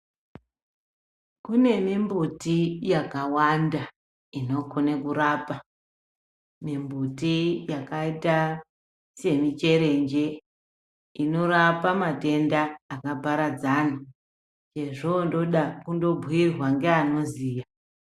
Kune mimbuti yakawanda inokone kurapa mimbuti yakaita semicherenje inorapa matenda akaparadzana chezvondoda kundobhuyirwa ngeanoziya.